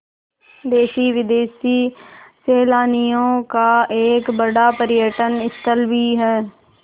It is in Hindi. देशी विदेशी सैलानियों का एक बड़ा पर्यटन स्थल भी है